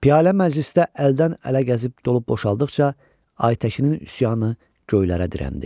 Piyalə məclisdə əldən ələ gəzib dolub boşaldıqca Aytəkinin üsyanı göylərə dirəndi.